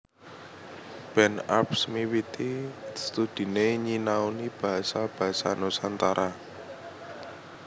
Ben Arps miwiti studhiné nyinaoni basa basa Nusantara